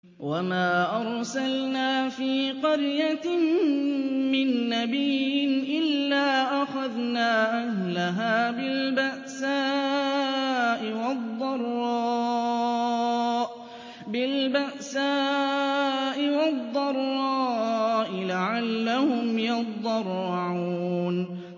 وَمَا أَرْسَلْنَا فِي قَرْيَةٍ مِّن نَّبِيٍّ إِلَّا أَخَذْنَا أَهْلَهَا بِالْبَأْسَاءِ وَالضَّرَّاءِ لَعَلَّهُمْ يَضَّرَّعُونَ